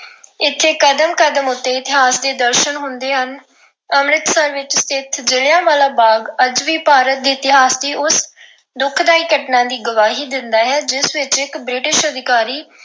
ਇਥੇ ਕਦਮ ਕਦਮ ਉੱਤੇ ਇਤਿਹਾਸ ਦੇ ਦਰਸ਼ਨ ਹੁੰਦੇ ਹਨ। ਅੰਮ੍ਰਿਤਸਰ ਵਿੱਚ ਸਥਿਤ ਜਲ੍ਹਿਆਂਵਾਲਾ ਬਾਗ ਅੱਜ ਵੀ ਪੰਜਾਬ ਦੇ ਇਤਿਹਾਸ ਦੀ ਉਸ ਦੁਖਦਾਈ ਘਟਨਾ ਦੀ ਗਵਾਹੀ ਦਿੰਦਾ ਹੈ, ਜਿਸ ਵਿੱਚ ਇੱਕ British ਅਧਿਕਾਰੀ